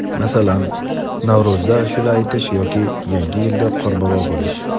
masalan Navro‘zda ashula aytish yoki yangi yilda qorbobo bo‘lish.